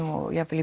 jafn vel í